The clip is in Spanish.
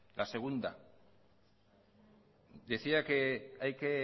la segunda decía que hay que